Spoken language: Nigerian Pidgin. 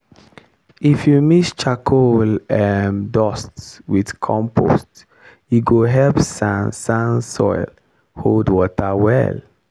if you mix charcoal um dust with compost e go help sand-sand soil hold water well.